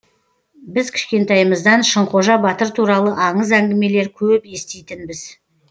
біз кішкентайымыздан шыңқожа батыр туралы аңыз әңгімелер көп еститінбіз